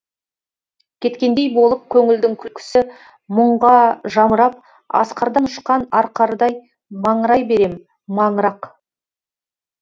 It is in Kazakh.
кеткендей болып көңілдің күлкісі мұңға жамырап асқардан ұшқан арқардай маңырай берем маңырақ